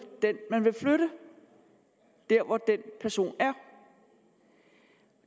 den man vil flytte der hvor den person er